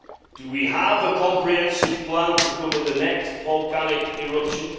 Do we have a comprehensive plan to cover the next volcanic eruption?